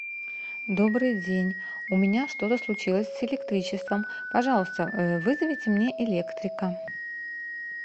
добрый день у меня что то случилось с электричеством пожалуйста вызовите мне электрика